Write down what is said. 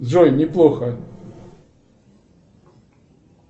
джой неплохо